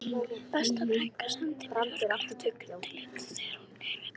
Besta frænka sendi mér hörkulegt augnatillit þegar hún heyrði þetta